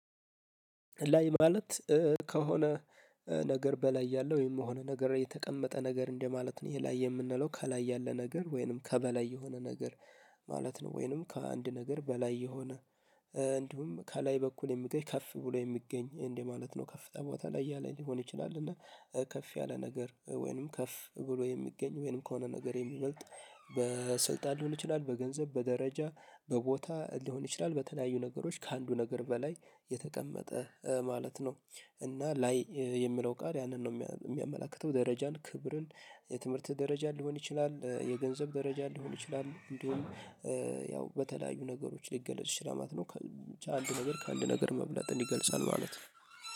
ላይ ማለት ከሆነ ነገር በላይ ያለው ወይም የሆነ ነገር የተቀመጠ ነገር እንደማለት ነው። ይሄ ላይ የምንለው ከላይ ያለ ነገር ወይንም ከበላይ የሆነ ነገር ማለት ነው። ወይንም ከአንድ ነገር በላይ የሆነ እንዲሁም ከላይ በኩል የምገኝ ከፍ ብሎ የሚገኝ እንዴ ማለት ነው። ከፍ ቦታ ላይ ያለ ሊሆን ይችላል። እና ከፍ ያለ ነገር ወይንም ከፍ ብሎ የሚገኝ ወይንም ከሆነ ነገር የሚበልጥ በስልጣን ሊሆን ይችላል። በገንዘብ በደረጃ በቦታ ሊሆን ይችላል በተለያዩ ነገሮች ከአንዱ ነገር በላይ የተቀመጠ ማለት ነው። እና ላይ የሚለው ቃል ያንን ነው የሚያመላክተው ደረጃን ክብርን የትምህርት ደረጃ ሊሆን ይችላል የገንዘብ ደረጃ ሊሆን ይችላል። እንዲሁም ያው በተለያዩ ነገሮች ሊገለጽ ሽላማት ነው ከአንድ ነገር ከአንድ ነገር መብለጥን እንዲገልጻል ማለት ነው